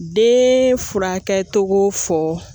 De furakɛli fɔ